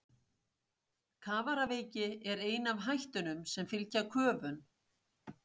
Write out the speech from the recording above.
Kafaraveiki er ein af hættunum sem fylgja köfun.